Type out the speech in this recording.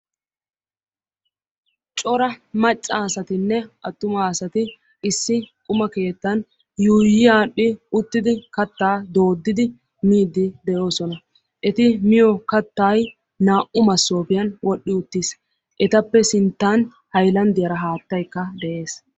Cora macca asatinne attuma asati issi quma keettan yuuyi aadhdhi uttidi kattaa dooddidi miidi de'oosona; eti miyo keettay naa'u masoopiyan wodhi uttis; etappe sinttan hayilandiyara haattaykka de'ees.